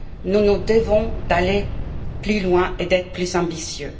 Nous nous devons d'aller plus loin et d'être plus ambitieux.